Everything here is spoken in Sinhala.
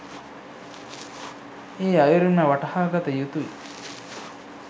ඒ අයුරින්ම වටහා ගත යුතුයි